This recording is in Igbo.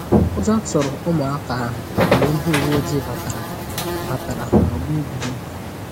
Ụjọ tụrụ ụmụaka ahụ mgbe ndị uwe ojii batara batara n'ọgbọ egwuregwu